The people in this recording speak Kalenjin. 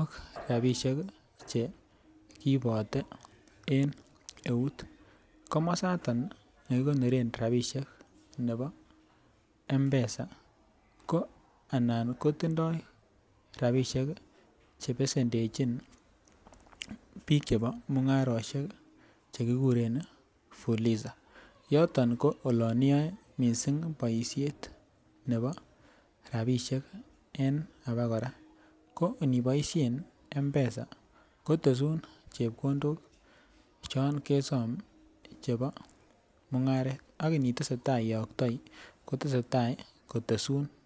ak rabisiek ih chekiibote en eut, komasaton nekikonoren rabisiek nebo, mpesa anan kotindai rabisiek ih chebesendechin bik chebo mung'arosiek chekikuren fuliza. Yoton ko olan iyae boisiet nebo rabisiek en abokora mo iniboishen mpesa kotesun chebkondok chon chebo mung'aret ak I itesetai iaktoi kotesun